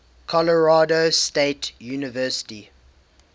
colorado state university